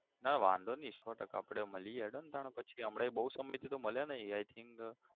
ના વાંધો નઈ સો ટકા આપડે મળીએ હેડો તાણ પછી હમણે બહુ સમય થી તો મલ્યા નઈ i think